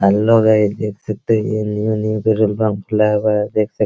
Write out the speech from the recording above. hello guys देख सकते हैं ये न्यू न्यू पेट्रोल पंप खुला हुआ है | देख सक --